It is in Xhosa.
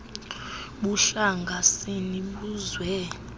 buhlanga sini buzwe